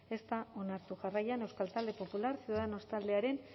ez da onartu jarraian euskal talde popular ciudadanos taldearen